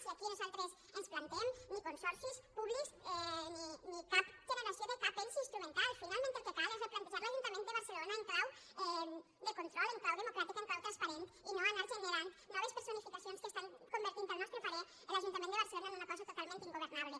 i aquí nosaltres ens plantem ni consorcis públics ni cap generació de cap ens instrumental finalment el que cal és replantejar l’ajuntament de barcelona en clau de control en clau democràtic en clau transparent i no anar generant noves personificacions que estan convertint al nostre parer l’ajuntament de barcelona en una cosa totalment ingovernable